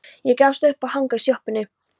Ég gafst upp á að hanga í sjoppunni.